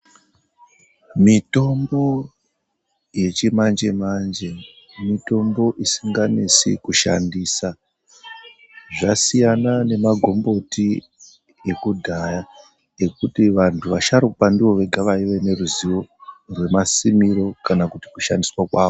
Mitombo yechimanje manje mitombo isinganesi kushandisa zvasiyana nemagomboti ekudhaya ekuti vantu vasharukwa ndovega vaive neruzivo remasimiro kana kuti kushandiswa kwawo.